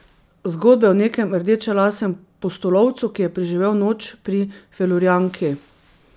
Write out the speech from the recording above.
Zgodbe o nekem rdečelasem pustolovcu, ki je preživel noč pri Felurijanki.